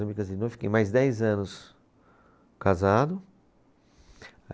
Eu me casei de novo, e fiquei mais dez anos casado.